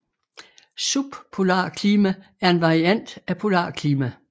Subpolarklima er en variant af polarklima